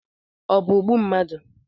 Ọ bụ ogbu mmadụ?